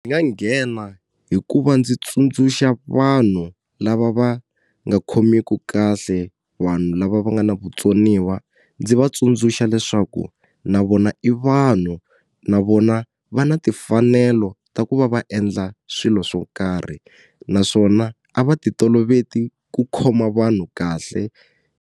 nga nghena hikuva ndzi tsundzuxa vanhu lava va nga khomiku kahle vanhu lava va nga na vutsoniwa ndzi va tsundzuxa leswaku na vona i vanhu na vona va na timfanelo ta ku va va endla swilo swo karhi naswona a va ti toloveti ku khoma vanhu kahle.